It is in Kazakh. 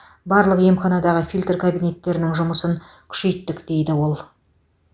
барлық емханадағы фильтр кабинеттерінің жұмысын күшейттік дейді ол